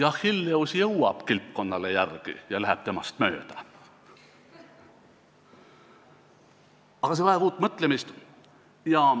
Achilleus jõuab kilpkonnale järele ja läheb temast mööda, aga see vajab uut mõtlemist.